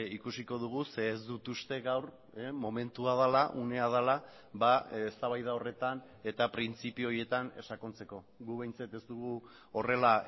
ikusiko dugu ze ez dut uste gaur momentua dela unea dela eztabaida horretan eta printzipio horietan sakontzeko gu behintzat ez dugu horrela